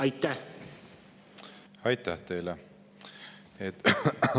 Aitäh teile!